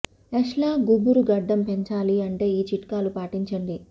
యష్ లా గుబురు గడ్డం పెంచాలి అంటే ఈ చిట్కాలు పాటించండి